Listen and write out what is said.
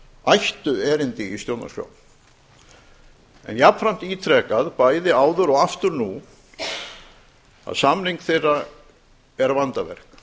ættu erindi í stjórnarskrá en jafnframt ítrekað bæði áður og aftur nú að samning þeirra er vandaverk